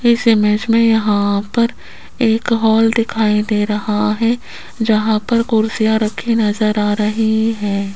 इस इमेज मे यहां पर एक हॉल दिखाई दे रहा है जहां पर कुर्सियां रखी नजर आ रही है।